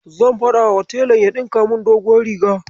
Zan faɗawa telan ya ɗinka min doguwar riga